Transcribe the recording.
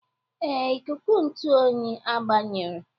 Ee, ikuku ntụ oyi agbanyere.